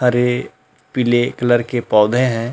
सारे पीले कलर के पौधे हैं।